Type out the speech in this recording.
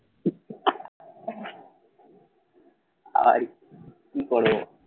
আর কি করবো?